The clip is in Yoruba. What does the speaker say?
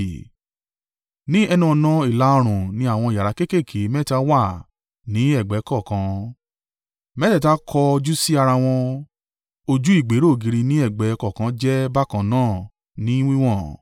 Ní ẹnu-ọ̀nà ìlà-oòrùn ni àwọn yàrá kéékèèké mẹ́ta wà ní ẹ̀gbẹ́ kọ̀ọ̀kan: mẹ́tẹ̀ẹ̀ta kọ̀ jú sí ara wọn, ojú ìgbéró ògiri ni ẹ̀gbẹ́ kọ̀ọ̀kan jẹ́ bákan náà ní wíwọ̀n.